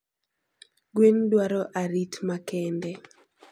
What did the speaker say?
Gwen dwaro arit makende